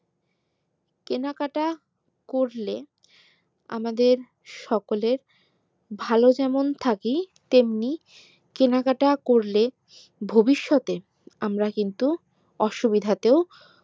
কেনাকাটা করলে আমাদের সকলের ভালো যেমন থাকি তেমনি কেনাকাটা করলে ভবিষৎ এ আমরা কিন্তু অসুবিধাতেও